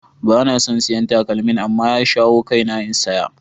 Ba na son siyan takalmin. amma ya shawo kaina in saya.